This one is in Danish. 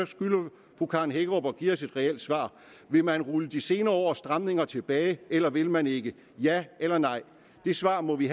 skylder fru karen hækkerup at give os et reelt svar vil man rulle de senere års stramninger tilbage eller vil man ikke ja eller nej det svar må vi